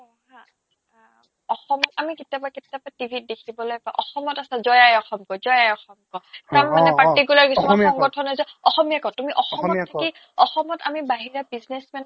অসমত আমি কিতাবা কিতাবা টিভিত দেখিবলে পাও অসমত আছা জয় আই অসম কই জয় আই অসম ক অ অ অ কিছুমান particular সংগঠনে যে তুমি অসমীয়া ক অসমীয়াত ক অসমত আমি বাহিৰা businessman ক